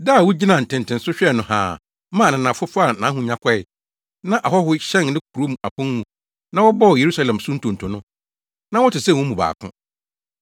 Da a wugyinaa ntentenso hwɛɛ no haa, maa ananafo faa nʼahonyade kɔe na ahɔho hyɛn ne kurow apon mu, na wɔbɔɔ Yerusalem so ntonto no, na wote sɛ wɔn mu baako.